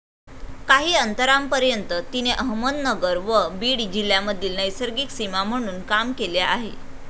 काही अंतरापर्यंत तिने अहमदनगर व बीड जिल्ह्यामधील नैसर्गिक सीमा म्हणून काम केले आहे.